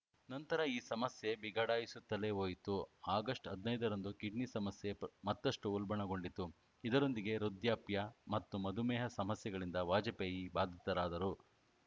ನಂತರ ಈ ಸಮಸ್ಯೆ ಬಿಗಡಾಯಿಸುತ್ತಲೇ ಹೋಯಿತು ಆಗಸ್ಟ್ ಹದಿನೈದರಂದು ಕಿಡ್ನಿ ಸಮಸ್ಯೆ ಮತ್ತಷ್ಟುಉಲ್ಬಣಗೊಂಡಿತು ಇದರೊಂದಿಗೆ ವೃದ್ಧಾಪ್ಯ ಮತ್ತು ಮಧುಮೇಹ ಸಮಸ್ಯೆಗಳಿಂದ ವಾಜಪೇಯಿ ಬಾಧಿತರಾದರು